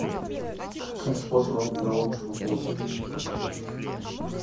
каким способом тебе лучше пополнить